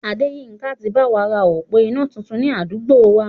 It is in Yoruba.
Adéyínká ti báwa ra òpó iná tuntun ni àdúgbò wa